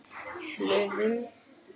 Hlöðum